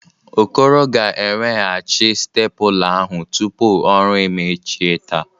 Okoro ga-eweghachi stepụla ahụ tupu ọrụ emechie taa.